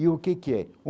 E o que que é?